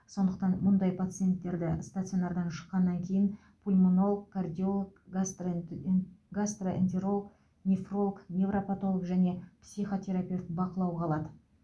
сондықтан мұндай пациенттерді стационардан шыққаннан кейін пульмонолог кардиолог гастрентэнт гастроэнтеролог нефролог невропатолог және психотерапевт бақылауға алады